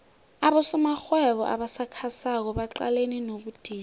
abosomarhwebo abasakhasako baqalene nobudisi